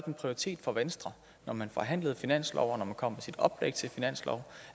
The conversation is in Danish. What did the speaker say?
en prioritet for venstre når man forhandlede finansloven når man kom med sit oplæg til finanslov